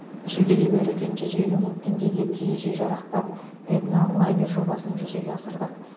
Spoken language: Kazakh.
жүлдеге берілген жүз елу мың теңгеге киіз үй жарақтап этнолагерь жобасын жүзеге асырдық